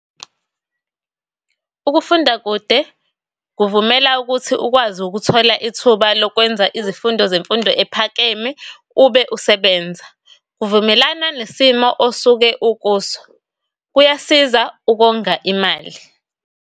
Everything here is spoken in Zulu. Ukufunda kude kuvumela ukuthi ukwazi ukuthola ithuba lokwenza izifundo zemfundo ephakeme ube usebenza. Vumelana nesimo osuke ukuso. Kuyasiza ukonga imali.